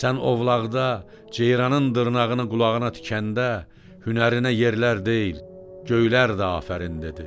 Sən ovlaqda ceyranın dırnağını qulağına tikəndə, hünərinə yerlər deyil, göylər də afərin dedi.